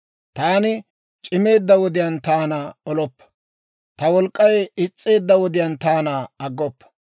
Taani c'imeedda wodiyaan taana oloppa; ta wolk'k'ay is's'eedda wodiyaan taana aggoppa.